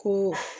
Ko